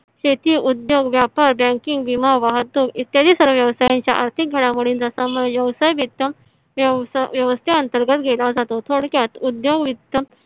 शेती उद्योग व्यापार बँकिंग विमा वाहतूक इत्यादि सर्व व्यवसायांच्या आर्थिक घडामोडींचा समावेश व्यवसाय वित्त व्यवस्थेअंतर्गत केला जातो. थोडक्यात उद्योग वित्त